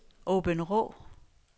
Åbenrå